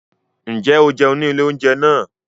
Ǹjẹ́ o jẹun ní ilé oúnjẹ náà?